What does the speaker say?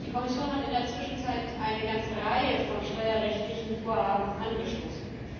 Die Kommission hat in der Zwischenzeit eine ganze Reihe von steuerrechtlichen Vorhaben angestoßen.